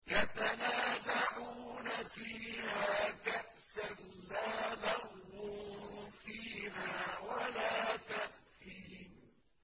يَتَنَازَعُونَ فِيهَا كَأْسًا لَّا لَغْوٌ فِيهَا وَلَا تَأْثِيمٌ